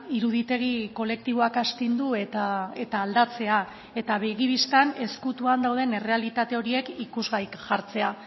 iruditegi kolektiboak astindu eta aldatzea eta begi bistan ezkutuan dauden errealitate horiek ikusgai jartzea